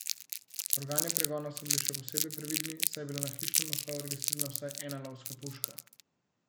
Organi pregona so bili še posebej previdni, saj je bila na hišnem naslovu registrirana vsaj ena lovska puška.